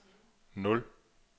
nul